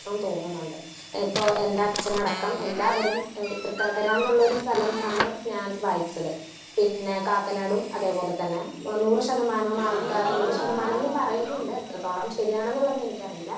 Speaker 1 സന്തോഷവും തോന്നുന്നുണ്ട്. ഇപ്പൊ എന്റെ അച്ഛനടക്കം എല്ലാവരും തൃക്കാക്കരാന്നുള്ള സ്ഥലം ആണ് ഞാൻ വായിച്ചത്. പിന്നെ കാക്കനാടും അതെ പോലെ തന്നെ നൂറ് ശതമാനം നൂറ് ശതമാനം പറയുന്നുണ്ട്. എത്രത്തോളം ശരിയാണെന്നുള്ളത് എനിക്കറിയില്ല.